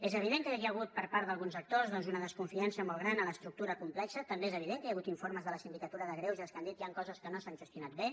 és evident que hi ha hagut per part d’alguns actors doncs una desconfiança molt gran a l’estructura complexa també és evident que hi ha hagut informes de la sindicatura de greuges que han dit que hi han coses que no s’han gestionat bé